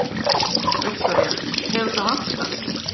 Viktoría: Hefur það vantað?